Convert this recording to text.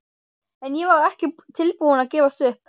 En ég var ekki tilbúin að gefast upp.